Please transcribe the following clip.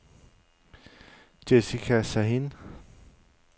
Jessica Sahin